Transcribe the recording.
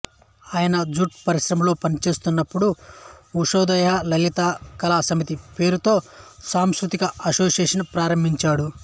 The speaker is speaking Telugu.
ఆయన జూట్ పరిశ్రమలో పనిచేస్తున్నప్పుడు ఉషోదయ లలిత కళా సమితి పేరుతో సాంస్కృతిక అసోసియేషన్ ప్రారంభించాడు